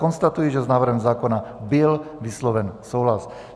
Konstatuji, že s návrhem zákona byl vysloven souhlas.